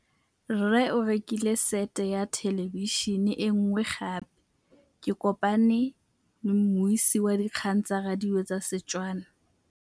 Rre o rekile sete ya thêlêbišênê e nngwe gape. Ke kopane mmuisi w dikgang tsa radio tsa Setswana.